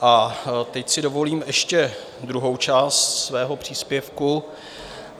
A teď si dovolím ještě druhou část svého příspěvku...